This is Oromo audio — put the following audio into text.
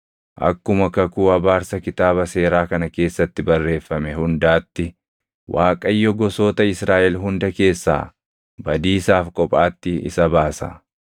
Akkuma kakuu abaarsa Kitaaba Seeraa kana keessatti barreeffame hundaatti, Waaqayyo gosoota Israaʼel hunda keessaa badiisaaf kophaatti isa baasa.